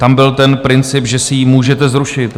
Tam byl ten princip, že si ji můžete zrušit.